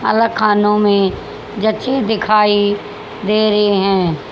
अलग खानों में जची दिखाई दे रही हैं।